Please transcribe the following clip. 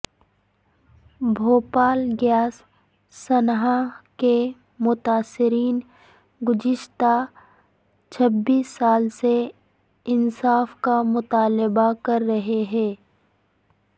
Bhopal gas سانحہ کے متاثرین گزشتہ چھبیس سال سے انصاف کا مطالبہ کررہے ہیں